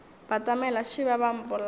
batamela šeba ba a mpolaya